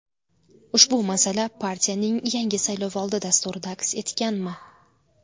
Ushbu masala partiyaning yangi saylovoldi dasturida aks etganmi?